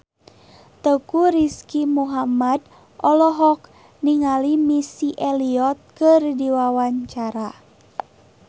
Teuku Rizky Muhammad olohok ningali Missy Elliott keur diwawancara